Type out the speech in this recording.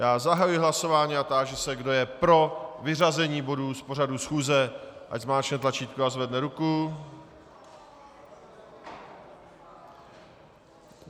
Já zahajuji hlasování a táži se, kdo je pro vyřazení bodů z pořadu schůze, ať zmáčkne tlačítko a zvedne ruku.